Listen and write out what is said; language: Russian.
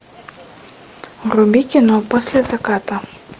вруби кино после заката